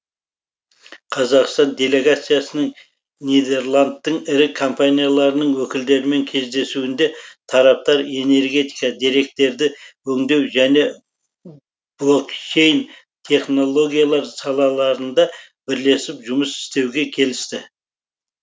қазақстан делегациясының нидерландтың ірі компанияларының өкілдерімен кездесуінде тараптар энергетика деректерді өңдеу және блокчейн технологиялар салаларында бірлесіп жұмыс істеуге келісті